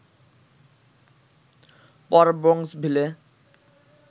পর ব্রোঙ্কসভিলে